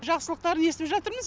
жақсылықтарын естіп жатырмыз